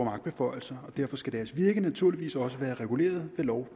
magtbeføjelser og derfor skal deres virke naturligvis også være reguleret ved lov